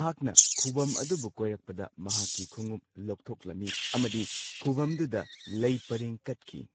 ꯃꯍꯥꯛꯅ ꯈꯨꯕꯝ ꯑꯗꯨꯕꯨ ꯀꯣꯏꯔꯛꯄꯗ ꯃꯍꯥꯛꯀꯤ ꯈꯣꯡꯎꯞ ꯂꯧꯊꯣꯛꯂꯝꯃꯤ ꯑꯃꯗꯤ ꯈꯨꯐꯝꯗꯨꯗ ꯂꯩ ꯄꯔꯦꯡ ꯀꯠꯈꯤ꯫